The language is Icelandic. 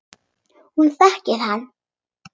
Hún þekkir hann.